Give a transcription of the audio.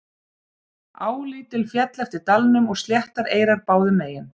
á lítil féll eftir dalnum og sléttar eyrar báðum megin